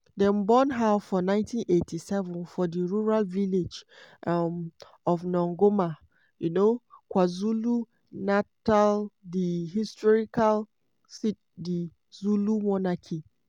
dem born her for 1987 for di rural village um of nongoma um kwazulu-natal di historical seat of di zulu monarchy.